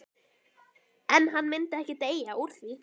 En hann myndi ekki deyja úr því.